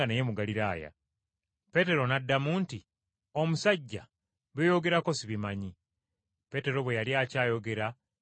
Peetero n’addamu nti, “Omusajja, by’oyogerako sibimanyi!” Peetero bwe yali akyayogera enkoko n’ekookolima.